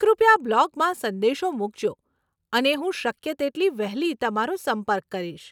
કૃપયા બ્લોગમાં સંદેશો મુકજો અને હું શક્ય તેટલી વહેલી તમારો સંપર્ક કરીશ.